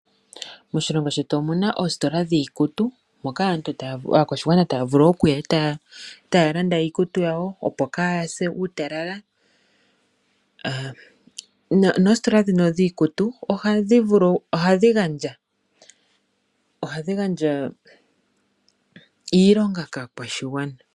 Moshilongo shetu omuna oositola dhiikutu moka moka aakwashigwana taya vulu oku eta taya landa iikutu yawo opo kaya se uutalala noositola dhino dhiikutu ohadhi gandja iilonga kaakwashigwana.